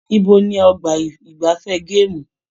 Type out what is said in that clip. Ibo ní ọgbà igbafẹ̀ gaamu?